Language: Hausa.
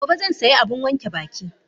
Gobe zan sayi abun wanke baki.